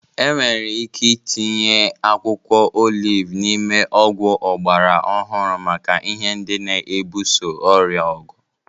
Enwere ike itinye akwụkwọ oliv n'ime ọgwụ ọgbara ọhụrụ maka ihe ndị na-ebuso ọrịa ọgụ.